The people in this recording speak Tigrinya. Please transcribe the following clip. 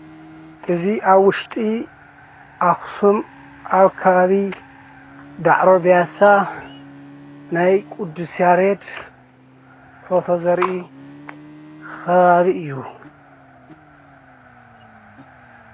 እዚ ኣብ ውሽጢ ኣክሱም ኣብ ከባቢ ዳዕሮ ብያሳ ናይ ቅዱስ ያሬድ ፎቶ ዘሪኢ ከባቢ እዩ።